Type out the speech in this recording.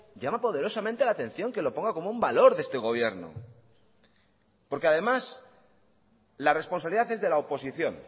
llama poderosamente la atención que lo ponga como un valor de este gobierno porque además la responsabilidad es de la oposición